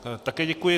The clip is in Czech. Také děkuji.